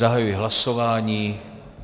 Zahajuji hlasování.